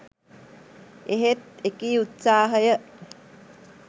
එහෙත් එකී උත්සාහය